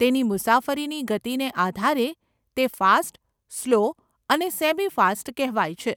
તેની મુસાફરીની ગતિને આધારે તે ફાસ્ટ, સ્લો અને સેમી ફાસ્ટ કહેવાય છે.